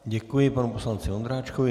Děkuji panu poslanci Ondráčkovi.